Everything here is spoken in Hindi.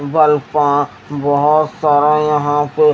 पा बोहोत सारा यहाँ पे--